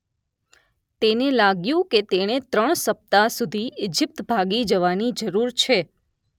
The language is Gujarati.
તેને લાગ્‍યું કે તેણે ત્રણ સપ્તાહ સુધી ઇજિપ્ત ભાગી જવાની જરૂર છે